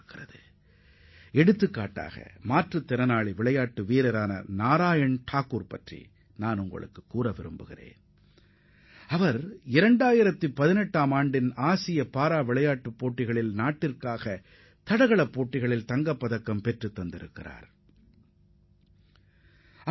உதாரணத்திற்கு குறிப்பிட வேண்டுமென்றால் 2018 மாற்றுத் திறனாளிகளுக்கான ஆசிய விளையாட்டுப் போட்டியில் தங்கப்பதக்கம் வென்ற நாராயண் தாக்கூர் என்ற மாற்றுத் திறனாளி விளையாட்டு வீரரை நான் உங்களுக்கு சுட்டிக்காட்ட விரும்புகிறேன்